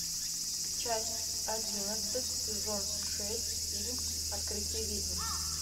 часть одиннадцать сезон шесть фильм открытие ведьм